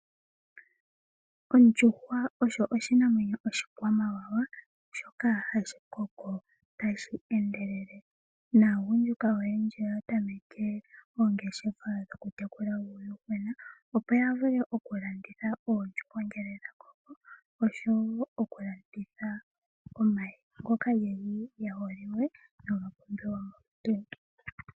Omdjuhwa oyo oshinamwenyo oshikwamawawa shoka hashi koko tashi endelele. Naagundjuka oyendji oya tameke oongeshefa dhokutekula uuyuhwena, opo ya vule okulanditha oondjuhwa ngele dha koko oshowo okulanditha omayi ngoka geli ge holiwe noha pumbiwa molutu.